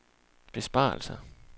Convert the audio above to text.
besparelser